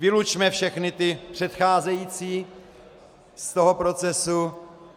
Vylučme všechny ty předcházející z toho procesu.